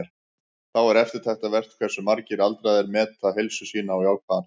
Þá er eftirtektarvert hversu margir aldraðir meta heilsu sína á jákvæðan hátt.